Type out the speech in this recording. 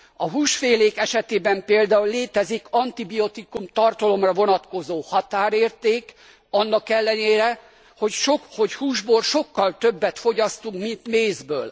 A húsfélék esetében például létezik antibiotikum tartalomra vonatkozó határérték, annak ellenére, hogy húsból sokkal többet fogyasztunk, mint mézből.